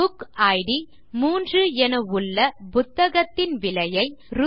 புக்கிட் 3 என உள்ள புத்தகத்தின் விலையை ரூ